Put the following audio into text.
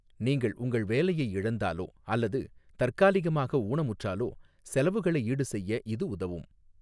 நீங்கள் உங்கள் வேலையை இழந்தாலோ அல்லது தற்காலிகமாக ஊனமுற்றாலோ செலவுகளை ஈடுசெய்ய இது உதவும்.